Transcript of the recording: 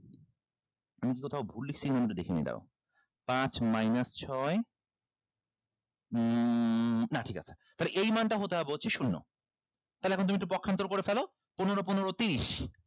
আমি কি কোথাও ভুল লেখছি একটু দেখে নেই দাড়াও পাঁচ minus ছয় উম না ঠিক আছে তাহলে এই মানটা হতে হবে হচ্ছে শূন্য তাহলে এখন তুমি একটু পক্ষান্তর করে ফেলো পনেরো পনেরো তিরিশ